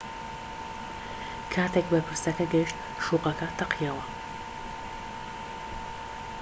کاتێک بەرپرسەکە گەیشت شوقەکە تەقیەوە